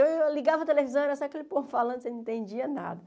Então eu ligava a televisão e era só aquele povo falando, você não entendia nada.